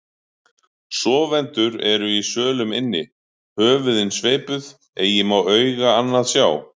Sofendur eru í sölum inni, höfuðin sveipuð, eigi má auga annað sjá.